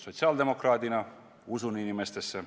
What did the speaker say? Sotsiaaldemokraadina usun inimestesse.